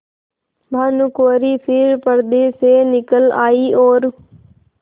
भानुकुँवरि फिर पर्दे से निकल आयी और